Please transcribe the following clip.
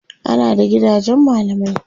ana da gidajen mallamai